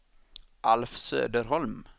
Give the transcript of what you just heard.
Alf Söderholm